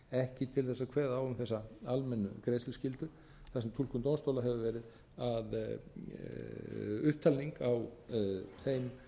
ekki til þess að kveða á um þessa almennu greiðsluskyldu þar sem túlkun dómstóla hefur verið upptalning á þeim